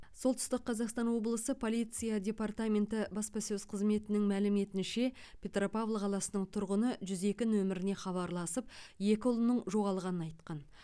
солтүстік қазақстан облысы полиция департаменті баспасөз қызметінің мәліметінше петропавл қаласының тұрғыны жүз екі нөміріне хабарласып екі ұлының жоғалғанын айтқан